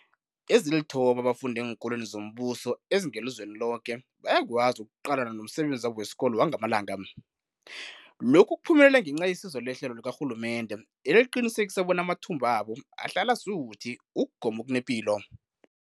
Ezilithoba abafunda eenkolweni zombuso ezingelizweni loke bayakwazi ukuqalana nomsebenzi wabo wesikolo wangamalanga. Lokhu kuphumelele ngenca yesizo lehlelo likarhulumende eliqinisekisa bona amathumbu wabo ahlala asuthi ukugoma okunepilo.